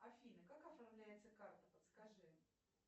афина как оформляется карта подскажи